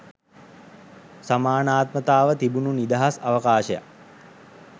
සමානාත්මතාව තිබුනු නිදහස් අවකාශයක්.